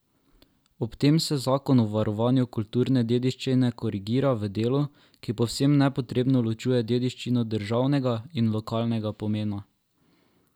Ob tem se zakon o varovanju kulturne dediščine korigira v delu, ki povsem nepotrebno ločuje dediščino državnega in lokalnega pomena.